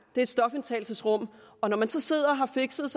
et stofindtagelsesrum og når man så sidder og har fixet